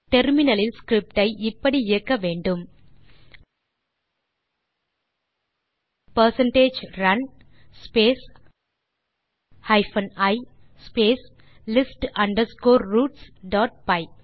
terminal இல் script ஐ இப்படி இயக்க வேண்டும் percentage run space hyphen e space list underscore roots dot by